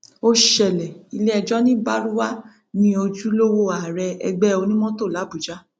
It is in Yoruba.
ó ṣẹlẹ iléẹjọ ní baruwa ní ojúlówó ààrẹ ẹgbẹ onímọtò làbújá